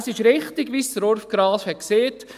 Es ist richtig, wie Urs Graf gesagt hat: